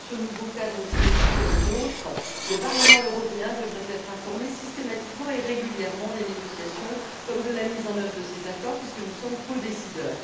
Dans ce nouveau cadre juridique qui est le nôtre, le Parlement européen devrait être informé systématiquement et régulièrement des négociations comme de la mise en œuvre de ces accords puisque nous sommes codécideurs.